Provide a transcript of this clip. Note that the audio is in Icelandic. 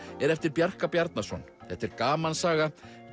er eftir Bjarka Bjarnason þetta er gamansaga